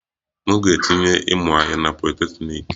M ga-etinye ịmụ azụmahịa na politeknik